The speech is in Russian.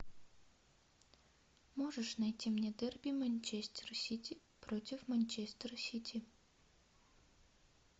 можешь найти мне дерби манчестер сити против манчестера сити